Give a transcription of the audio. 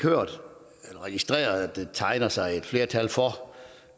registreret der tegner sig et flertal for